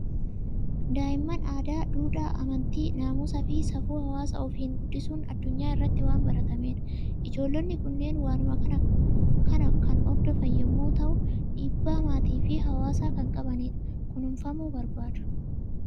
Daa'imman aadaa, duudhaa, amantii, naamusa fi safuu hawwaasa ofiin guddisuun addunyaa irratti waan baratamedha. Ijoollonni kunneen waanuma kana kan hordofan yommuu ta'u, dhiibbaa maatii fi hawwaasaa kan qabanidha. Kunuunfamuu barbaadu!